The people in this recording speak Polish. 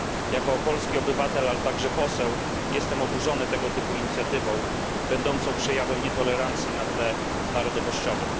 Jako polski obywatel, ale również poseł, jestem oburzony tego typu inicjatywą, będącą przejawem nietolerancji na tle narodowościowym.